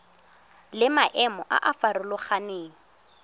le maemo a a farologaneng